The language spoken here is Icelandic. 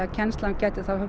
kennsla gæti þá